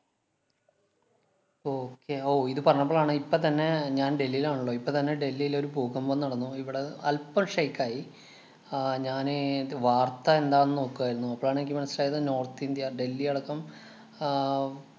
okay ഓ, ഇതു പറഞ്ഞപ്പോളാണ് ഇപ്പൊ തന്നെ ഞാന്‍ ഡൽഹിലാണല്ലൊ. ഇപ്പൊ തന്നെ ഡൽഹിലൊരു ഭൂകമ്പം നടന്നു. ഇവിടെ അല്പം shake ആയി. ആഹ് ഞാനെ ദ്~ വാര്‍ത്ത എന്താന്നു നോക്കുവാരുന്നു. അപ്പോളാണെനിക്ക് മനസിലായത് നോര്‍ത്ത് ഇന്‍ഡ്യ ഡൽഹിയടക്കം ആഹ്